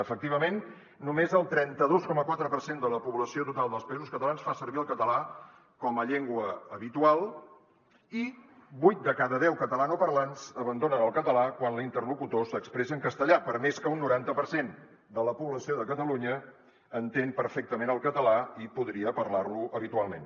efectivament només el trenta dos coma quatre per cent de la població total dels països catalans fa servir el català com a llengua habitual i vuit de cada deu catalanoparlants abandonen el català quan l’interlocutor s’expressa en castellà per més que un noranta per cent de la població de catalunya entén perfectament el català i podria parlar lo habitualment